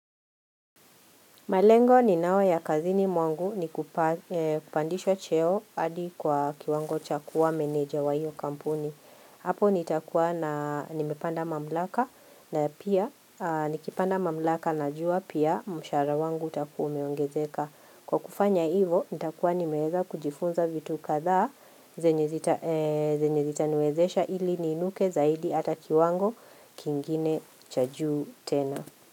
Malengo ninao ya kazini mwangu ni kupa kupandishwa cheo hadi kwa kiwango cha kuwa meneja wa hio kampuni. Hapo ni takua na nimepanda mamlaka na pia nikipanda mamlaka na jua pia mshaara wangu takua umeongezeka. Kwa kufanya hivo ni takua nimeeza kujifunza vitu kadhaa zenye zita zenye zitaniwezesha ili niinuke zaidi ata kiwango kingine cha juu tena.